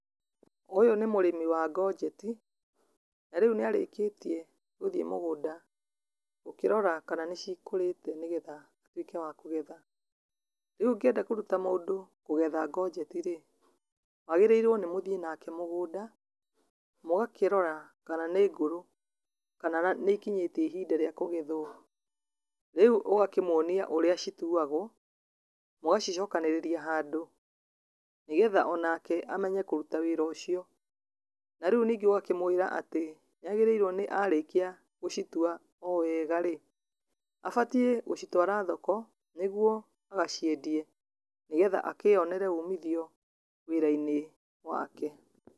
Ũyũ nĩ mũrĩmi wa gojeti, na rĩũ nĩarĩkĩtie gũthiĩ mugũnda gũgĩrora kana nĩcikũrĩte nigetha atuĩke wa kũgetha, rĩu ũngĩenda kũruta mũndũ kũgetha gojeti rĩ, wagĩrĩirwe gũthiĩ nake mũgũnda, mũgakĩrora kana nĩ ngũrũ kana nĩikinyĩtie ihinda rĩa kũgethwa. rĩũ ũgakĩmonia ũrĩa cituagwo mũgacicokanĩrĩria handũ, nĩgetha onake amenye kũruta wĩra ũcio na rĩũ ũgakĩmwĩra atĩ, nĩagĩrĩirwe arĩkia gũcitua owega rĩ abatie gũcitwara thoko ,nĩguo agaciendie nĩgetha akĩonere ũmithio wĩrainĩ wake.